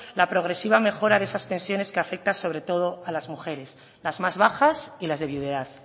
la progresiva mejora de esas pensiones que afecta sobre todo a las mujeres las más bajas y las de viudedad